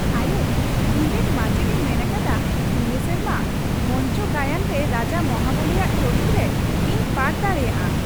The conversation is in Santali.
ᱟᱭᱳ, ᱤᱧᱨᱮᱱ ᱢᱟᱪᱮᱫᱼᱮ ᱢᱮᱱ ᱟᱠᱟᱫᱟ ᱱᱤᱭᱟᱹ ᱥᱮᱨᱢᱟ ᱢᱚᱧᱪᱚ ᱜᱟᱭᱟᱱ ᱨᱮ ᱨᱟᱡᱟ ᱢᱚᱦᱟᱵᱚᱞᱤᱼᱟᱜ ᱪᱟᱹᱨᱤᱛ ᱨᱮ ᱤᱧ ᱯᱟᱴᱷ ᱫᱟᱲᱮᱭᱟᱜᱼᱟ ᱾